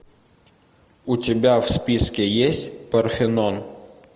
у тебя в списке есть парфенон